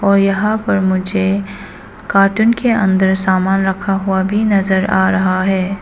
और यहां पर मुझे कार्टून के अंदर सामान रखा हुआ भी नजर आ रहा है।